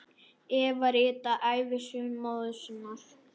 Eva ritaði ævisögu móður sinnar.